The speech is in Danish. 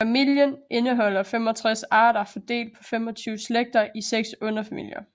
Familien indeholder 65 arter fordelt på 25 slægter i 6 underfamilier